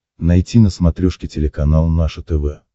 найти на смотрешке телеканал наше тв